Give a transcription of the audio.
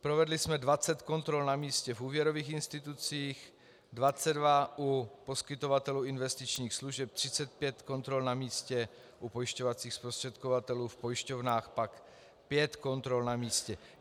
Provedli jsme 20 kontrol na místě v úvěrových institucích, 22 u poskytovatelů investičních služeb, 35 kontrol na místě u pojišťovacích zprostředkovatelů, v pojišťovnách pak 5 kontrol na místě.